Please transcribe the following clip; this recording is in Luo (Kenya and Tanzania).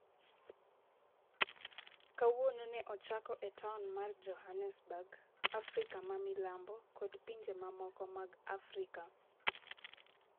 Kawuono ne ochake e taon mar Johannesburg, Afrika ma Milambo kod pinje mamoko mag Afrika.